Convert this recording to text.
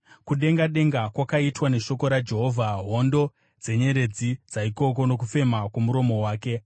Kudenga denga kwakaitwa neshoko raJehovha, hondo dzenyeredzi dzaikoko, nokufema kwomuromo wake.